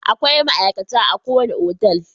Akwai ma'aikata a ko wani otal.